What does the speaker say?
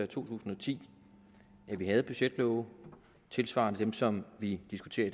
tusind og ti at vi havde budgetlove tilsvarende dem som vi diskuterer i